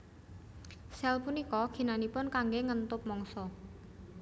Sel punika ginanipun kanggé ngentup mangsa